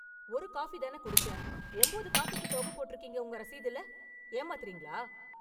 ஒரு காபி தான குடிச்சேன், ஒன்பது காபிக்கு தொகை போற்றுகீங்க உங்க ரசீதுல? ஏமாத்துறீங்களா?